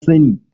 eh na sani